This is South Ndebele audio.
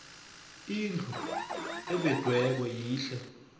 indlu evediweko yihle